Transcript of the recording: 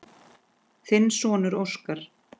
Þinn sonur, Óskar.